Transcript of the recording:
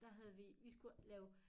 Der havde vi vi skulle lave